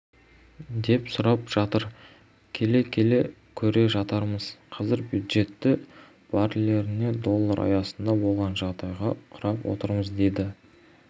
деп сұрап жатыр келе-келе көре жатармыз қазір бюджетті барреліне доллар аясында болған жағдайға құрып отырмыз деді